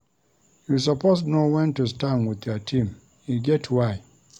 You suppose know wen to stand wit your team, e get why.